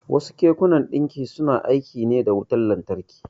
Wasu kekunan ɗinki suna aiki ne da wutan lantarki.